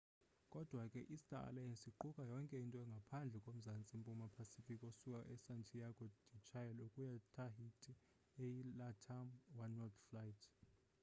kodwa ke i star alliance iquka yonke into ngaphandle ko mzantsi mpuma pacific osuka e santiago de chile ukuya tahiti eyi latam oneworld flight